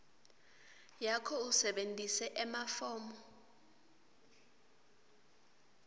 yakho usebentise emafomu